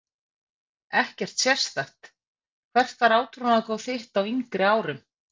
Ekkert sérstakt Hvert var átrúnaðargoð þitt á yngri árum?